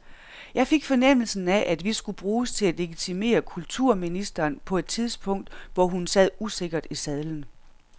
Jeg fik fornemmelsen af, at vi skulle bruges til at legitimere kulturministeren på et tidspunkt, hvor hun sad usikkert i sadlen.